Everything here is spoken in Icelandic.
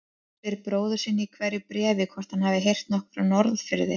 Spyr bróður sinn í hverju bréfi hvort hann hafi heyrt nokkuð frá Norðfirði.